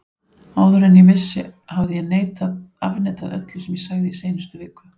Áður en ég vissi hafði ég afneitað öllu sem ég sagði í seinustu viku.